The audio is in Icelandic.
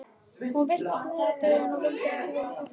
Hún virtist niðurdregin og vildi ekki vera hjá frænku sinni.